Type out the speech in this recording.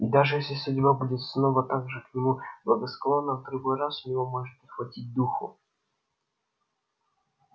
и даже если судьба будет снова так же к нему благосклонна в другой раз у него может не хватить духу